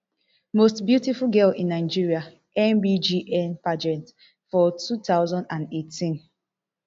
most beautiful girl in nigeria mbgn pageant for two thousand and eighteen